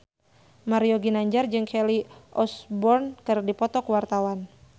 Mario Ginanjar jeung Kelly Osbourne keur dipoto ku wartawan